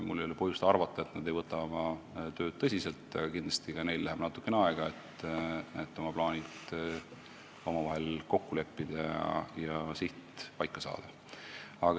Mul ei ole põhjust arvata, et nad ei võta oma tööd tõsiselt, aga kindlasti läheb neil natukene aega, et oma plaanid kokku leppida ja siht paika saada.